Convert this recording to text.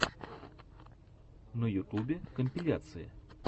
на ютюбе компиляции